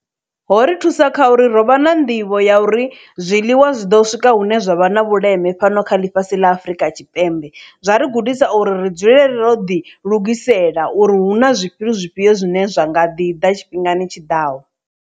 Ho ri thusa kha uri ro vha na nḓivho ya uri zwiḽiwa zwi ḓo swika hune zwa vha na vhuleme fhano kha ḽifhasi ḽa Afurika Tshipembe zwa ri gudisa uri ri dzulele ro ḓi lugisela uri hu na zwifhio zwifhio zwine zwa nga ḓi ḓa tshifhingani tshiḓaho.